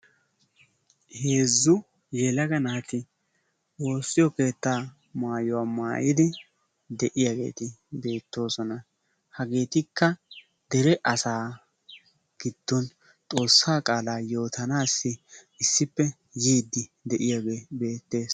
Heeezu yelaga naati woosiyo keetta maayuwa maayidi eqqidaageeti beettoosona. Hageetikka dere asaa giddon xoosaa qaalaa yootanaassi issippe yiyaage beettees.